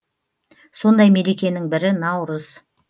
сондай мерекенің бірі наурыз